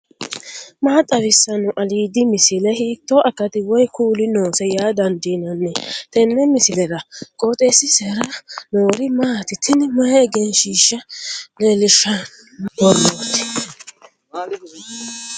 maa xawissanno aliidi misile ? hiitto akati woy kuuli noose yaa dandiinanni tenne misilera? qooxeessisera noori maati ? tini mayi egenshshiishsa leellishahsanno borrooti